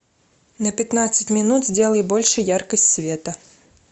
на пятнадцать минут сделай больше яркость света